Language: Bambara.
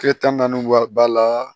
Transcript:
Kile tan ni naani wari b'a la